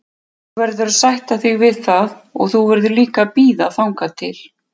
Þú verður að sætta þig við það og þú verður líka að bíða þangað til.